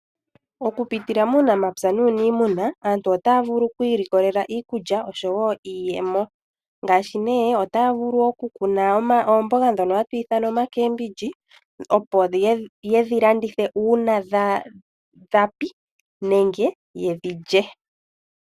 Okun pitila muunamapya nuniimuna. Aantu otaya vulu okwiilikolela iikulya nosho wo iiyemo, ngashi ne otaya vulu oku kuna oomboga dhoka hatu ithana oma Cabbage, yedhi landithe uuna dha koko nenge yedhi lye.